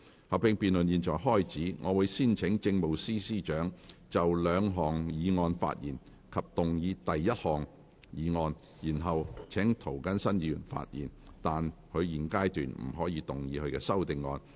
合併辯論現在開始，我會先請政務司司長就兩項議案發言及動議第一項議案，然後請涂謹申議員發言，但他在現階段不可動議他的修訂議案。